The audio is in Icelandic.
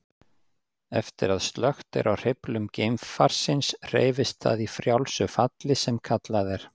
Eftir að slökkt er á hreyflum geimfarsins hreyfist það í frjálsu falli sem kallað er.